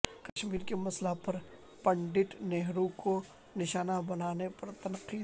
کشمیر کے مسئلہ پر پنڈت نہرو کو نشانہ بنانے پر تنقید